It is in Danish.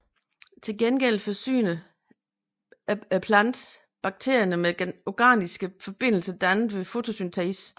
Til gengæld forsyner planten bakterierne med organiske forbindelser dannet ved fotosyntesen